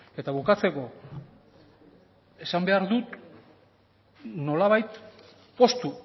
eta bukatzeko esan behar dut nolabait poztu